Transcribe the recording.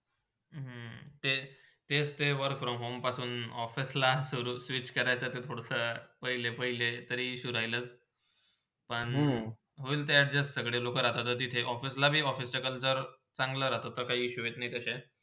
तेचते work from home पासून office ला switch करायचंते पूडचा पहिले -पाहिलेतरी शोध्याला ISSUE राहिलाच पण होईल ते adjust सगळे लोका राहतात तिथे office लाही, office च्या खल जर ते चांगलं राहता, तर काही issue येत नय तशे